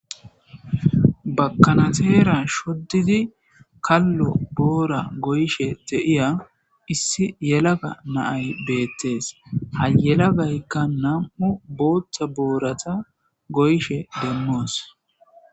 bakanateera shoddidi kallo boora goyshe te7iya issi yelaga naay beettes ha yelagaykka nam7u booththa boorata goyshe demmoos